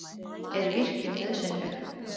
Er virkjun nauðsynleg?